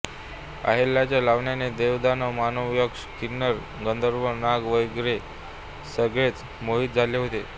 अहल्येच्या लावण्याने देव दानव मानव यक्ष किन्नर गंधर्व नाग वगैरे सगळेच मोहित झाले होते